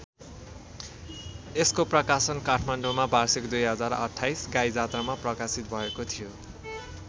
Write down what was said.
यसको प्रकाशन काठमाडौँमा वार्षिक २०२८ गाइजात्रामा प्रकाशित भएको थियो।